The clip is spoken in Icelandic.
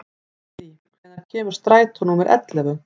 Hedí, hvenær kemur strætó númer ellefu?